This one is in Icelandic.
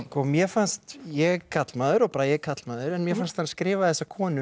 mér fannst ég er karlmaður og Bragi er karlmaður en mér fannst hann skrifa þessa konu